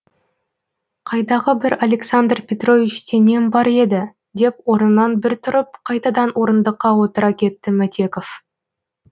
қайдағы бір александр петровичте нем бар еді деп орнынан бір тұрып қайтадан орындыққа отыра кетті мәтеков